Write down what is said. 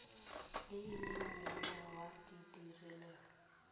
e le mene ya ditirelo